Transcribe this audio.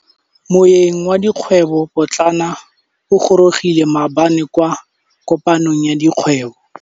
Moêng wa dikgwêbô pôtlana o gorogile maabane kwa kopanong ya dikgwêbô.